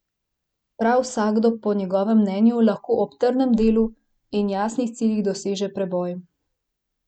Prav vsakdo po njegovem mnenju lahko ob trdem delu in jasnih ciljih doseže preboj.